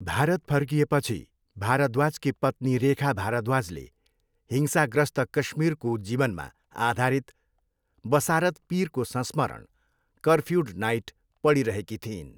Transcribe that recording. भारत फर्किएपछि भारद्वाजकी पत्नी रेखा भारद्वाजले हिंसाग्रस्त काश्मीरको जीवनमा आधारित बसारत पिरको संस्मरण, कर्फ्युड नाइट पढिरहेकी थिइन्।